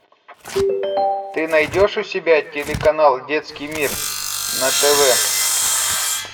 ты найдешь у себя телеканал детский мир на тв